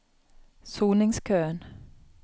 soningskøen